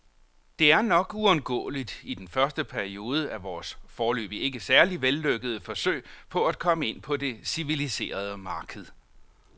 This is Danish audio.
Det er nok uundgåeligt i den første periode af vores, foreløbig ikke særlig vellykkede, forsøg på at komme ind på det civiliserede marked.